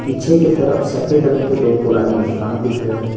पीछे की तरफ सफ़ेद रंग की दो पुराने मकान दिख रहे हैं।